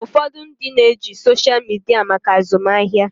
Ụfọdụ ndị na-eji soshal midia maka azụmahịa.